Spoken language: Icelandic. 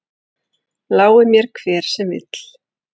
Lái mér hver sem vill.